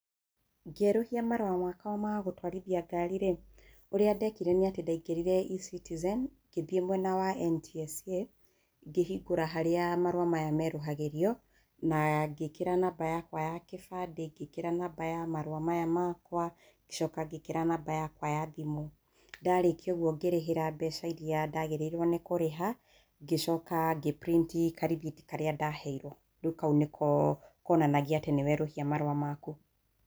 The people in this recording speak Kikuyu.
Ngĩerũhia marũa makwa magũtwarithia ngari rĩ, ũrĩa ndekire nĩ atĩ ndaingĩrire eCitizen ngĩthiĩ mwena wa NTSA, ngĩhĩngũra harĩa marũa maya merũhagĩrio na ngĩkĩra namba yakwa ya gĩbandĩ, ngĩkĩra namba ya marũa maya makwa, ngĩcoka ngĩkĩra namba yakwa ya thimũ. Ndarĩkia ũguo ngĩrĩhĩra mbeca irĩa ndagĩrĩirwo nĩ kũrĩha ngĩcoka ngĩ print karĩthiti karĩa ndaheirwo, rĩu kau nĩ ko konanagia atĩ nĩ werũhia marũa maku.